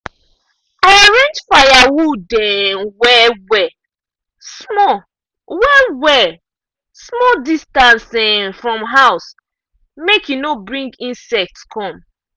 i arrange firewood um well-well small well-well small distance um from house make e no bring insects come.